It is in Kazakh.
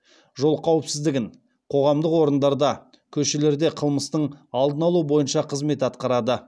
жол қауіпсіздігін қоғамдық орындарда көшелерде қылмыстың алдын алу бойынша қызмет атқарады